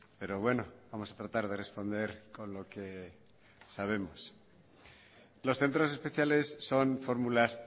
pero bueno vamos a tratar de responder con lo que sabemos los centros especiales son fórmulas